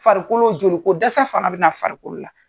Farikolo, joli ko dɛsɛ fana bɛna farikolo la.